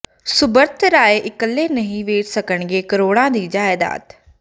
ਸੁਬ੍ਰਤ ਰਾਏ ਇਕੱਲੇ ਨਹੀਂ ਵੇਚ ਸਕਣਗੇ ਕਰੋੜਾਂ ਦੀ ਜਾਇਦਾਦ